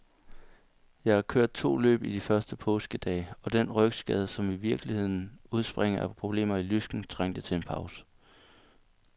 Jeg har kørt to løb i de første påskedage, og den rygskade, som i virkeligheden udspringer af problemer i lysken, trængte til en pause.